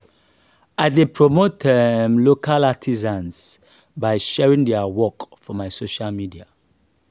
i dey promote um local artisans by sharing their work for my social media.